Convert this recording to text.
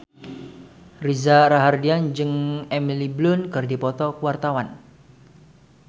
Reza Rahardian jeung Emily Blunt keur dipoto ku wartawan